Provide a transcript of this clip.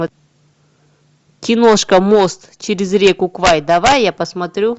киношка мост через реку квай давай я посмотрю